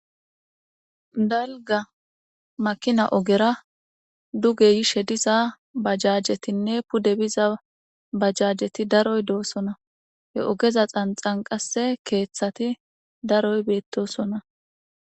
dalga makina ogera duge yishe diza bajajetinne pude biza bajjajeti daroy doosona he ogeza xanxan qase keeththati daroy beettosona